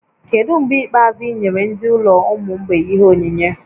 Kedu mgbe ikpeazụ ị nyere ndị ụlọ ụmụ mgbei ihe onyinyé?